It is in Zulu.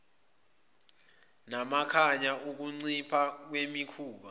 namakhaya ukuncipha kwemikhuba